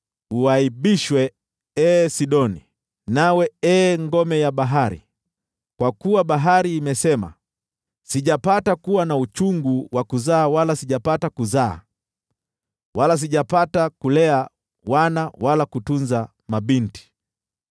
Uaibishwe ee Sidoni, nawe ee ngome la bahari, kwa kuwa bahari imesema: “Sijapata kuwa na uchungu wa kuzaa wala sijapata kuzaa, wala sijapata kulea wana wala kutunza mabinti.”